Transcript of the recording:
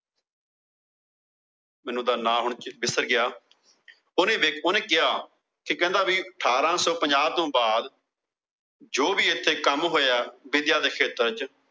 ਮੈਨੂੰ ਹੁਣ ਉਹੰਦਾ ਨਾ ਵਿਸਰ ਗਿਆ। ਓਹਨੇ ਕਿਹਾ। ਕਹਿੰਦਾ ਵੀ ਅਠਾਰਾਂ ਸੋ ਪੰਜਾਹ ਤੋਂ ਬਾਅਦ ਜੋ ਵੀ ਇੱਥੇ ਕੰਮ ਹੋਇਆ ਵਿੱਦਿਆ ਦੇ ਖੇਤਰ ਚ।